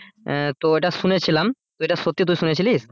তো এটা শুনেছিলাম তো এটা সত্যি তুই শুনেছিলিস?